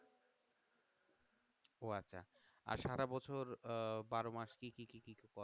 ও আচ্ছা আর সারাবছর আহ কি কি কি কি করেন?